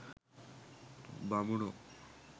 බමුණෝ